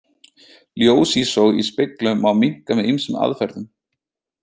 Ljósísog í speglum má minnka með ýmsum aðferðum.